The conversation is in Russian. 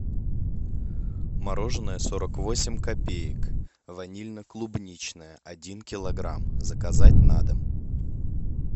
мороженое сорок восемь копеек ванильно клубничное один килограмм заказать на дом